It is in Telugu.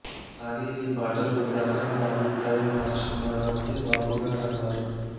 కానీ నీ పాటలు విన్నాక నా అభిప్రాయం మార్చుకున్నాను అని బాపుగారన్నారు